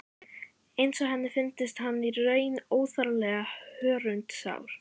Eins og henni fyndist hann í raun óþarflega hörundsár.